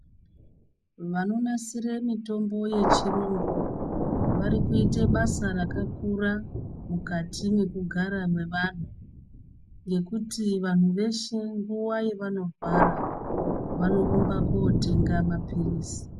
Vanonasire mitombo yechirungu vari kuite basa rakakura mukati mwekugara mwevanthu nekuti vanhu veshe nguwa yavanorwara vanorumba kotenga mapirizi.